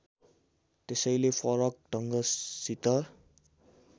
त्यसैले फरक ढङ्गसित